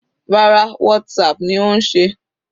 Rárá, Whatsapp ni ó ń ṣe.